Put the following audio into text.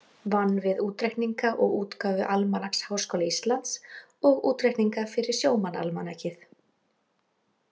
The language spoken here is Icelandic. Vann við útreikninga og útgáfu Almanaks Háskóla Íslands og útreikninga fyrir Sjómannaalmanakið.